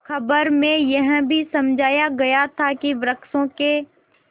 खबर में यह भी समझाया गया था कि वृक्षों के